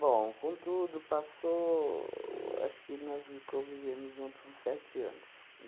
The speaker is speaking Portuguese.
Bom, contudo, passou... acho que nós convivemos juntos uns sete anos.